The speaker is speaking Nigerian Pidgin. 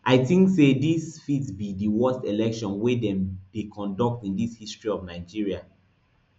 i tink say dis fit be di worst election wey dem dey conduct in di history of nigeria